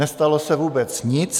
Nestalo se vůbec nic.